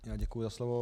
Děkuji za slovo.